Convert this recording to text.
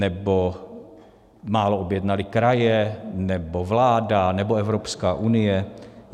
Nebo málo objednaly kraje, nebo vláda, nebo Evropská unie?